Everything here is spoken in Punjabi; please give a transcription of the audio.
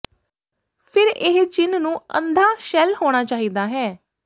ਫਿਰ ਇਹ ਚਿੰਨ੍ਹ ਨੂੰ ਅੰਧਾ ਸ਼ੈੱਲ ਹੋਣਾ ਚਾਹੀਦਾ ਹੈ